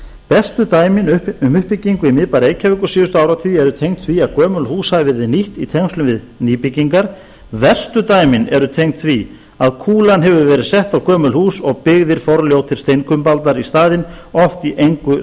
bestu dæmin um uppbyggingu í miðbæ reykjavíkur síðustu áratugi eru tengd því að gömul hús hafa verið nýtt í tengslum við nýbyggingar verstu dæmin eru tengd því að kúlan hefur verið sett á gömul hús og byggðir forljótir steinkumbaldar í staðinn oft í engu